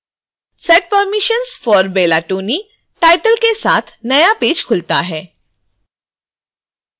set permissions for bella tony title के साथ नया पेज खुलता है